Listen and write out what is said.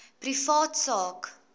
privaat sak